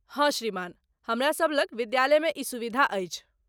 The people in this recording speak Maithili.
हँ, श्रीमान, हमरासभ लग विद्यालयमे ई सुविधा अछि।